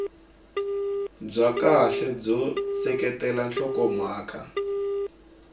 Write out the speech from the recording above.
bya kahle byo seketela nhlokomhaka